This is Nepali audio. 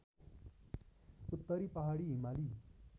उत्तरी पहाडी हिमाली